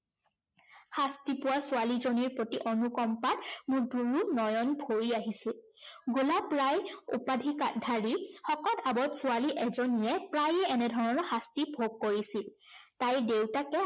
শাস্তি পোৱা ছোৱালীজনীৰ প্ৰতি অনুকম্পাত মোৰ দুয়ো নয়ন ভৰি আহিছিল। গোলাপ ৰায় উপাধি ধাৰী শকত আৱত ছোৱালী এজনীয়ে প্ৰায়ে এনেধৰণৰ শাস্তি ভোগ কৰিছিল। তাইৰ দেউতাকে